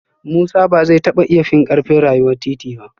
Musa ba zai taba iya fin karfin rayuwar titi ba